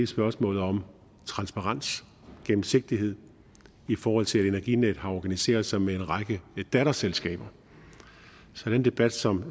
spørgsmålet om transparens gennemsigtighed i forhold til at energinet har organiseret sig med en række datterselskaber så den debat som